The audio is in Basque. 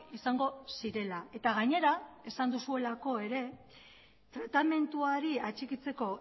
izango zirela eta gainera esan duzuelako ere tratamenduari atxikitzeko